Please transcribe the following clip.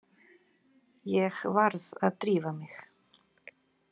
Ég varð að drífa mig.